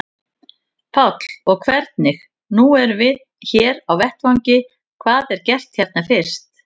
Páll: Og hvernig, nú erum við hér á vettvangi, hvað er gert hérna fyrst?